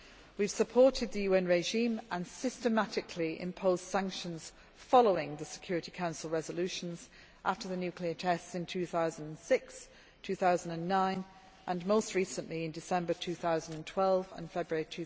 We have supported the UN regime and systematically imposed sanctions following the Security Council resolutions after the nuclear tests in 2006 and 2009 and most recently December 2012 and February